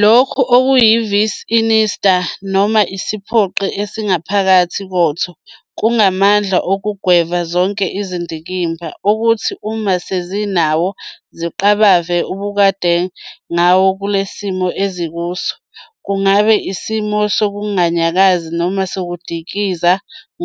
Lokho okuyi- "vis insita", noma isiphoqi esingaphakathi kotho, kungamandla okugweva zonke izindikimba, okuthi uma zisenawo, ziqabave ukubhekakade ngawo kuleso simo ezikuso, kungaba isimo sokunganyakazi noma sokudikiza